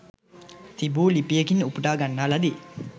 තිබු ලිපියකින් උපුටා ගන්න ලදී